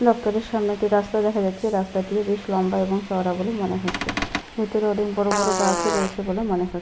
দপ্তরের সামনে একটি রাস্তা দেখা যাচ্ছে। রাস্তাটিও বেশ লম্বা এবং চওড়া বলে মনে হচ্ছে। ভেতরে অনেক বড়বড় গাছ ও রয়েছে বলে মনে হচ্ছে।